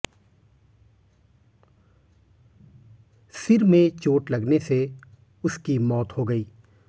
सिर में चोट लगने से उसकी मौत हो गई